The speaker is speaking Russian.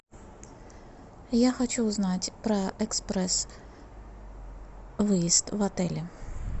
я хочу узнать про экспресс выезд в отеле